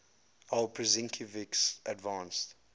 aw prusinkiewicz advanced